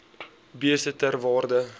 beeste ter waarde